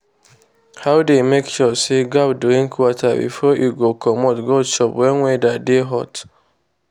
he dey make sure say goat drink water before e go commot go chop wen weather dey hot.